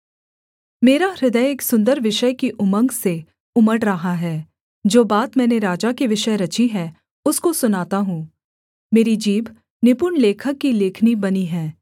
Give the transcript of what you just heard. मेरा हृदय एक सुन्दर विषय की उमंग से उमड़ रहा है जो बात मैंने राजा के विषय रची है उसको सुनाता हूँ मेरी जीभ निपुण लेखक की लेखनी बनी है